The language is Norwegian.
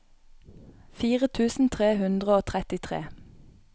fire tusen tre hundre og trettitre